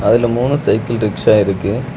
இதுல மூணு cycle rickshaw இருக்கு.